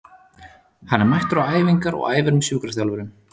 Hann er mættur á æfingar og æfir með sjúkraþjálfurunum.